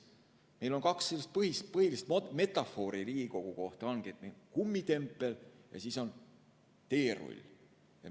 Meil on kaks põhilist metafoori Riigikogu kohta: kummitempel ja teerull.